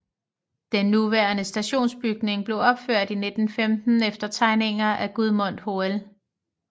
Den nuværende stationsbygning blev opført i 1915 efter tegninger af Gudmund Hoel